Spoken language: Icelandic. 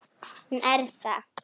Hún er það.